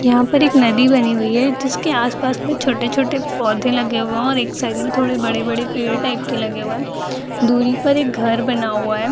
यहाँ पर एक नदी बनी हुई है जिस के आस-पास में छोटे-छोटे पौधे लगे हुए हैं और एक साइड में थोड़े बड़े-बड़े पेड़ टाइप के लगे हुए हैं दुरी पर एक घर बना हुआ है।